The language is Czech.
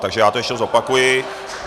Takže já to ještě zopakuji.